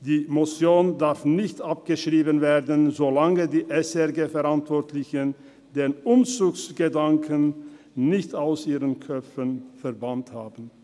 Die Motion darf nicht abgeschrieben werden, solange die SRG-Verantwortlichen den Umzugsgedanken nicht aus ihren Köpfen verbannt haben.